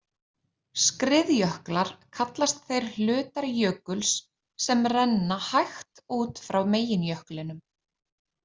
Skriðjöklar kallast þeir hlutar jökuls, sem renna hægt út frá meginjöklinum.